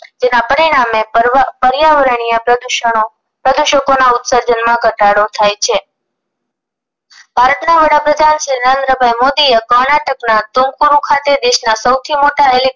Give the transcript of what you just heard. પર્યાવરણીય પ્રદૂષણો પ્રદૂષકો ના ઉતસજર્ન માં ઘટાડો થાય છે ભારતના વડાપ્રધાન શ્રી નરેન્દ્રભાઇ મોદીએ કર્ણાટકના ટૂનખરું ખાતે દેશ ના સૌથી મોટા હેલીકોપ્ટર